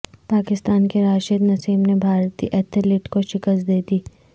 پاکستان کے راشد نسیم نے بھارتی ایتھلیٹ کو شکست دیدی